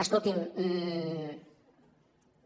escolti’m